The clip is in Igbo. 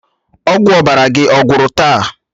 Ọgwụ ọbara gị ọ̀gwụ́rụ taa?